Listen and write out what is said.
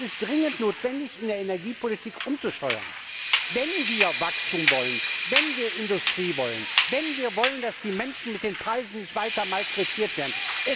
Es ist dringend notwendig, in der Energiepolitik umzusteuern, wenn wir Wachstum wollen, wenn wir Industrie wollen, wenn wir wollen, dass die Menschen mit den Preisen nicht weiter malträtiert werden.